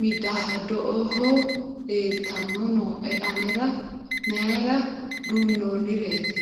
midaadoho leeltanni nooe anera mayra duunnnonnireeti?